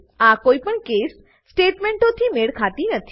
આ કોઈપણ case case સ્ટેટમેંટોથી મેળ ખાતી નથી